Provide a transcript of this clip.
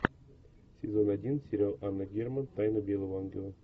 сезон один сериал анна герман тайна белого ангела